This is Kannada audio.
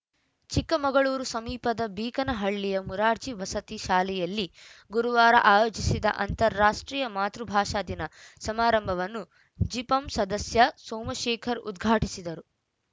ಚಿಕ್ಕಮಗಳೂರು ಸಮೀಪದ ಬೀಕನಹಳ್ಳಿಯ ಮುರಾರ್ಜಿ ವಸತಿ ಶಾಲೆಯಲ್ಲಿ ಗುರುವಾರ ಆಯೋಜಿಸಿದ್ದ ಅಂತಾರಾಷ್ಟ್ರೀಯ ಮಾತೃಭಾಷಾ ದಿನ ಸಮಾರಂಭವನ್ನು ಜಿಪಂ ಸದಸ್ಯ ಸೋಮಶೇಖರ್‌ ಉದ್ಘಾಟಿಸಿದರು